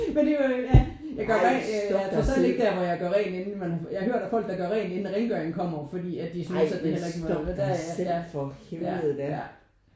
Men det er jo ja ej jeg er trods alt ikke der hvor jeg gør rent inden men jeg har hørt om folk der gør rent inden rengøringen kommer fordi at de synes at man heller ikke må ja ja